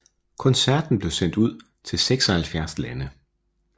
Koncerten blev sendt ud til 76 lande